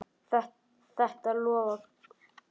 Þetta lofaði góðu.